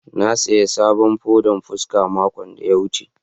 na siya sabon fodan fuska makon da ya wuce.